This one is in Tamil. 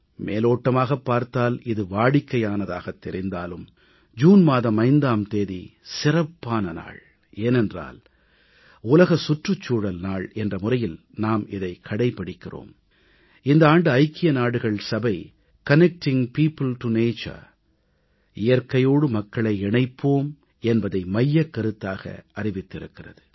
மேலோட்டமாகப் பார்த்தால் இது வாடிக்கையானதாகத் தெரிந்தாலும் ஜூன் மாதம் 5ஆம் தேதி சிறப்பான நாள் ஏனென்றால் உலக சுற்றுச்சூழல் நாள் என்ற முறையில் நாம் இதைக் கடைப்பிடிக்கிறோம் இந்த ஆண்டு ஐக்கிய நாடுகள் சபை கனெக்டிங் பியோப்பிள் டோ நேச்சர் இயற்கையோடு மக்களை இணைப்போம் என்பதை மையக்கருத்தாக அறிவித்திருக்கிறது